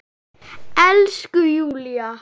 Elsku Júlla!